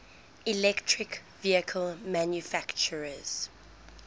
electric vehicle manufacturers